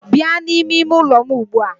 Bịa n'ime ime ụlọ m ugbu a!